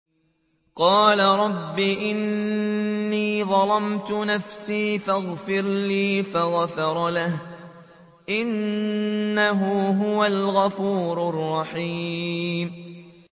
قَالَ رَبِّ إِنِّي ظَلَمْتُ نَفْسِي فَاغْفِرْ لِي فَغَفَرَ لَهُ ۚ إِنَّهُ هُوَ الْغَفُورُ الرَّحِيمُ